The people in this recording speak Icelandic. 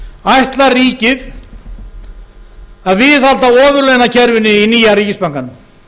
ætlar ríkið að viðhalda ofurlaunakerfinu í nýja ríkisbankanum